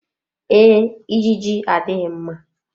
Ee, ijiji adịghị mma.